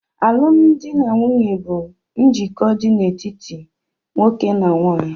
Alụmdi na nwunye bụ njikọ dị n'etiti nwoke na nwanyị.